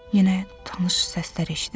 Yenə tanış səslər eşidirəm.